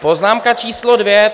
Poznámka číslo dvě.